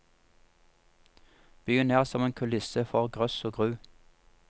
Byen er som en kulisse for grøss og gru.